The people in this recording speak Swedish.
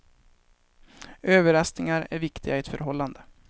Överraskningar är viktiga i ett förhållande.